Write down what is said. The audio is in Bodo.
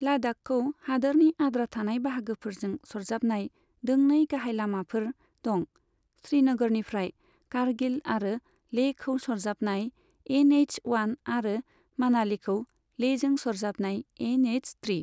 लाद्दाखखौ हादोरनि आद्रा थानाय बाहागोफोरजों सरजाबनाय दोंनै गाहाय लामाफोर दं, श्रीनगरनिफ्राय कारगिल आरो लेहखौ सरजाबनाय एन एइच अवान आरो मानालीखौ लेहजों सरजाबनाय एन एइच ट्रि।